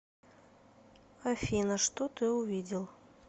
афина что ты увидел